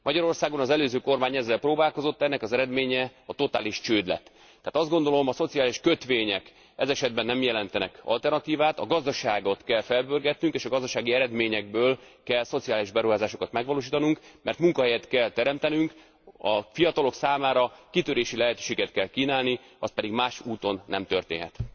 Magyarországon az előző kormány ezzel próbálkozott, ennek az eredménye a totális csőd lett. Tehát azt gondolom, a szociális kötvények ez esetben nem jelentenek alternatívát, a gazdaságot kell felpörgetnünk, és a gazdasági eredményekből kell szociális beruházásokat megvalósítanunk, mert munkahelyet kell teremtenünk, a fiatalok számára kitörési lehetőséget kell kínálni, az pedig más úton nem történhet.